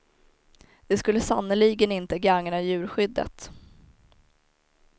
Det skulle sannerligen inte gagna djurskyddet.